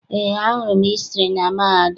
Eé, agụrụ m hịstrị na mahadum.